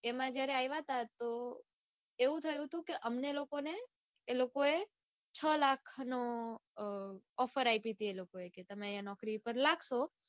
એમાં જયારે આઇવા તા તો એવું થયું તું કે અમને છ લાખનો offer આપી તી એ લોકોએ કે તમે અઇયા નોકરી ઉપર લાગશો ત્યારે